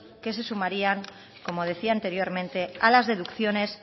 que se sumarían como decía anteriormente a las deducciones